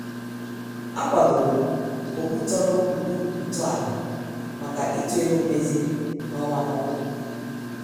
A kwadorom okputoro mkpu ntọala maka ịtụ ego mmezi n' ọnwa n' ọnwa.